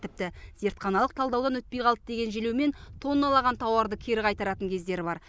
тіпті зертханалық талдаудан өтпей қалды деген желеумен тонналаған тауарды кері қайтаратын кездері бар